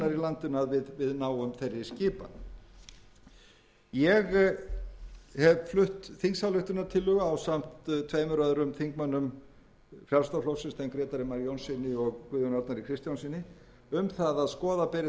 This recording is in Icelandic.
landinu að við náum þeirri skipan ég hef flutt þingsályktunartillögu ásamt tveimur öðrum þingmönnum frjálslynda flokksins þeim grétari mar jónssyni og guðjóni arnari kristjánssyni um það að skoða beri þessi mál sérstaklega